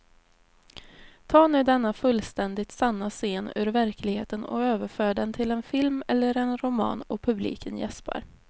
Ta nu denna fullständigt sanna scen ur verkligheten och överför den till en film eller en roman och publiken jäspar.